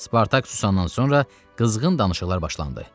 Spartak susandan sonra qızğın danışıqlar başlandı.